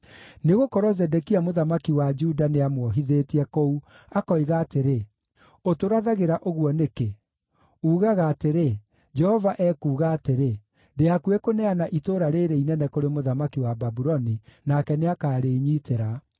Nĩgũkorwo Zedekia mũthamaki wa Juda nĩamuohithĩtie kũu, akoiga atĩrĩ, “Ũtũrathagĩra ũguo nĩkĩ? uugaga atĩrĩ, ‘Jehova ekuuga atĩrĩ: Ndĩ hakuhĩ kũneana itũũra rĩĩrĩ inene kũrĩ mũthamaki wa Babuloni, nake nĩakarĩĩnyitĩra.